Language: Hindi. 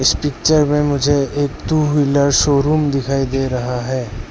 इस पिक्चर में मुझे एक टू व्हीलर शोरूम दिखाई दे रहा है।